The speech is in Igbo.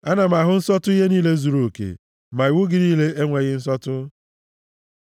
Ana m ahụ nsọtụ ihe niile zuruoke, ma iwu gị niile enweghị nsọtụ. מ Mem